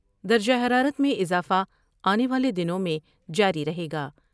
درجہ حرارت میں اضافہ آنے والے دنوں میں جاری رہے گا ۔